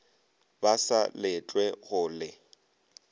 ba sa letlwe go le